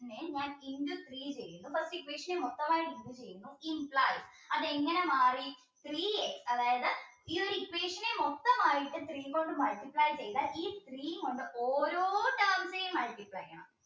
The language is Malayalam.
നെ ഞാൻ into three ചെയ്യും first equation നെ മൊത്തമായിട്ട് അതെങ്ങനെ മാറി three അതായത് ഈ ഒരു equation നെ മൊത്തമായിട്ട് three കൊണ്ട് multiply ചെയ്താൽ ഈ three കൊണ്ട് ഓരോ terms നെയും multiply